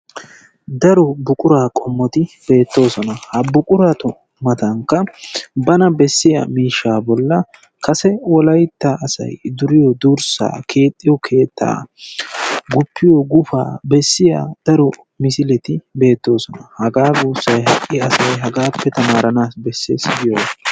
Daro buquraa qommoti beettoosona. Ha buquratu matankka bana bessiya miishshaa bollan kase wolaytta asay duriyo durssaa keexxiyo keettaa guppiyo gufaa bessiya daro misileti beettoosona. Hagaa guussay ha''i asay hagaappe tamaaranaassi bessees giyogaa.